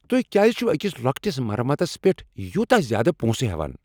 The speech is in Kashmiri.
تہۍ کیٛاز چھو أکس لۄکٹس مرمتس پیٹھ یوتاہ زیادٕ پونسہٕ ہیوان؟